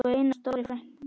Elsku Einar stóri frændi.